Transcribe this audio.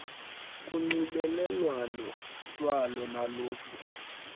kunxibelelwano lwalo naliphi